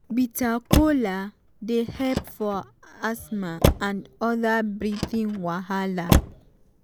bitter kola dey help for asthma and other breathing wahala.